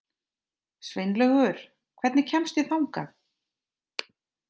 Sveinlaugur, hvernig kemst ég þangað?